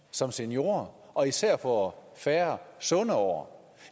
som seniorer og især får færre sunde år